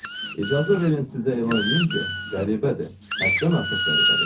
İcazə verin sizə elan eləyim ki, qəribədir, həddən artıq qəribədir.